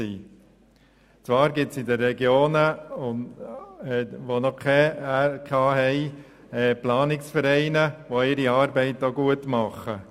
In den Regionen, die noch keine Regionalkonferenzen haben, gibt es zwar Planungsvereine, die ihre Arbeit auch gut machen.